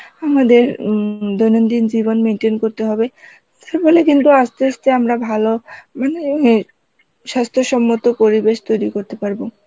আমাদের উম দৈনন্দিন জীবন maintain করতে হবে, বলে কিন্তু আমরা আসতে আসতে ভালো মানে স্বাস্থ্য সম্মত পরিবেশ তৈরি করতে পারব